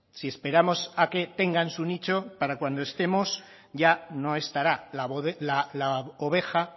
si esperamos a que tengan su nicho para cuando estemos ya no estará la oveja